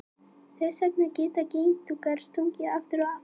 Þess vegna geta geitungar stungið aftur og aftur.